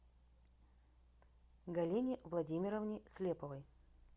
галине владимировне слеповой